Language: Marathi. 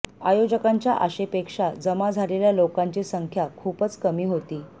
आयोजकांच्या आशेपेक्षा जमा झालेल्या लोकांची संख्या खूपच कमी होती